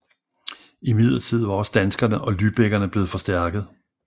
Imidlertid var også danskerne og lybækkerne blevet forstærket